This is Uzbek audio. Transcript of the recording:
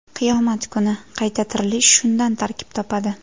Qiyomat kuni qayta tirilish shundan tarkib topadi”.